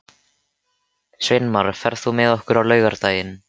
Sveinmar, ferð þú með okkur á laugardaginn?